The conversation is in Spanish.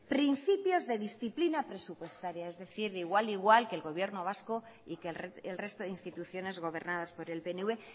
principios de disciplina presupuestaria es decir igual igual que el gobierno vasco y que el resto de instituciones gobernadas por el pnv